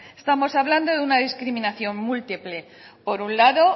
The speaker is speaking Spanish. estamos hablando de una discriminación múltiple por un lado